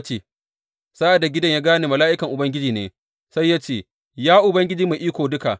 Sa’ad da Gideyon ya gane mala’ikan Ubangiji ne, sai ya ce, Ya Ubangiji Mai Iko Duka!